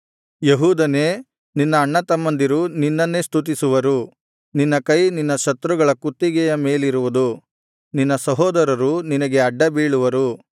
ಯೆಹೂದನೇ ನಿನ್ನ ಅಣ್ಣತಮ್ಮಂದಿರು ನಿನ್ನನ್ನೇ ಸ್ತುತಿಸುವರು ನಿನ್ನ ಕೈ ನಿನ್ನ ಶತ್ರುಗಳ ಕುತ್ತಿಗೆಯ ಮೇಲಿರುವುದು ನಿನ್ನ ಸಹೋದರರು ನಿನಗೆ ಆಡ್ಡ ಬೀಳುವರು